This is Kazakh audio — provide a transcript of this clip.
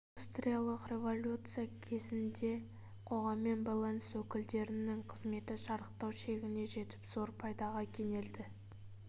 индустриялық революция кезінде қоғаммен байланыс өкілдерінің қызметі шарықтау шегіне жетіп зор пайдаға кенелді